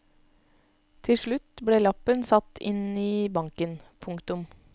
Tilslutt ble lappen satt inn i banken. punktum